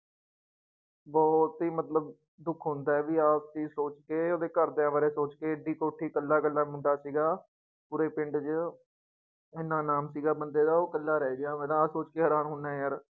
ਬਹੁਤ ਹੀ ਮਤਲਬ ਦੁੱਖ ਹੁੰਦਾ ਹੈ ਵੀ ਆਹ ਚੀਜ਼ ਸੋਚ ਕੇ ਉਹਦੇ ਘਰਦਿਆਂ ਬਾਰੇ ਸੋਚਕੇ, ਇੱਡੀ ਕੋਠੀ ਇਕੱਲਾ ਇਕੱਲਾ ਮੁੰਡਾ ਸੀਗਾ ਪੂਰੇ ਪਿੰਡ ਚ, ਇੰਨਾ ਨਾਮ ਸੀਗਾ ਬੰਦੇ ਦਾ ਉਹ ਇਕੱਲਾ ਰਹਿ ਗਿਆ, ਮੈਂ ਤਾਂ ਆਹ ਸੋਚ ਕੇ ਹੈਰਾਨ ਹੁੰਦਾ ਹੈ ਯਾਰ।